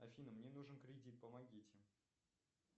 афина мне нужен кредит помогите